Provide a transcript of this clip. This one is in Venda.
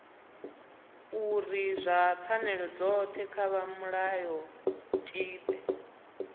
uri pfanelo dzothe kha mulayotibe